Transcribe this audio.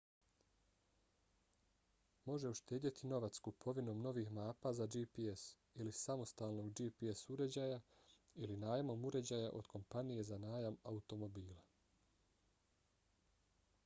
može uštedjeti novac kupovinom novih mapa za gps ili samostalnog gps uređaja ili najmom uređaja od kompanije za najam automobila